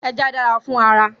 Ẹja dára fún ara